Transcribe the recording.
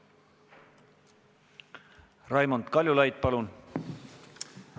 Raimond Kaljulaid, palun!